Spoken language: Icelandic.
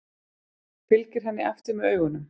Fylgir henni eftir með augunum.